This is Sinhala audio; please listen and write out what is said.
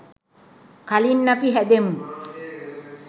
කලින් අපි හැදෙමු.